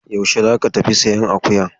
Yaushe za ka tafi sayan akuyar?